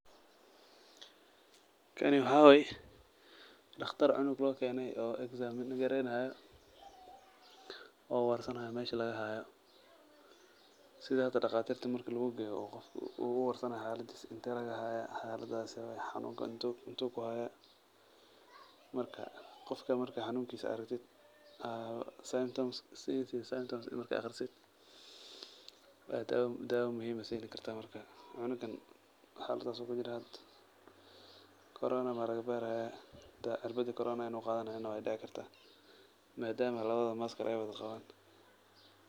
Kani waxaa waye, daqtar cung loo keene oo exam gareeynaayo, oo warsan haayo meesha laga haayo, sida hada daqaatirta marki laguu geeyo uu qofka uu warsanaayo xaladiisa, intee lagaa haaya, xaalada see waye, xanuunka intuu kuhaaya, marka qofka marka xanuunkiisa aragtid, aad signs and symptoms markaad aqrisid, aa daawa muhiim ah siini kartaa markaa, cunugan xaaladaas ayuu kujiraa hada, corona maa laga baari haaya, cirbadi corona inuu qaadani haayo waa laga yaaba, maadama labadooda mask aay wada qabaan.